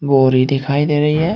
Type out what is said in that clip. और ये दिखाई दे रही है।